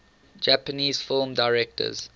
japanese film directors